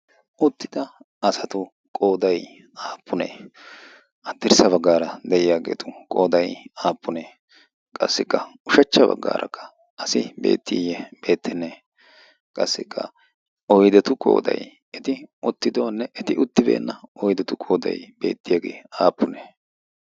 Uttida asatu qooday aappunee? Haddirssa baggaara de'iyaageetu qooday aappunee? Qassikka ushachcha baggaarakka asi beettiye beettenne? Qassikka oydetu qooday eti uttidoonne eti uttibeenna oydetu qooday beettiyaagee aappune?